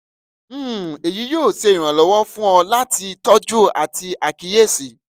um eyi yoo ṣe iranlọwọ fun ọ lati tọju ati akiyesi